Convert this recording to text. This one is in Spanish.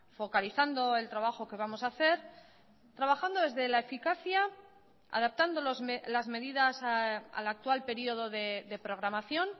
focalizando el trabajo que vamos a hacer trabajando desde la eficacia adaptando las medidas al actual periodo de programación